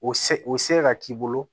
O se o se ka k'i bolo